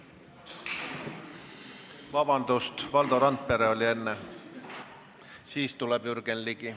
Vabandust, Valdo Randpere oli enne, siis tuleb Jürgen Ligi.